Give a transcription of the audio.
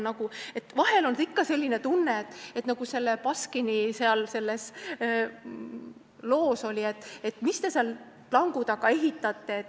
Vahel on selline tunne, nagu selles Baskini loos oli, et mis te seal plangu taga ehitate.